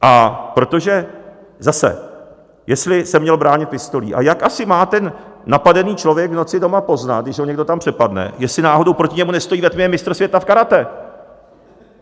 A protože zase, jestli se měl bránit pistolí - a jak asi má ten napadený člověk v noci doma poznat, když ho někdo tam přepadne, jestli náhodou proti němu nestojí ve tmě mistr světa v karate?